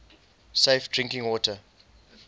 safe drinking water